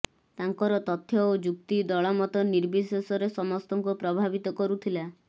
ତାଙ୍କର ତଥ୍ୟ ଓ ଯୁକ୍ତି ଦଳମତ ନିର୍ବିଶେଷରେ ସମସ୍ତଙ୍କୁ ପ୍ରଭାବିତ କରୁଥିଲା